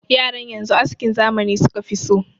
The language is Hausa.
Yaran yanzu askin zamani suka fi so.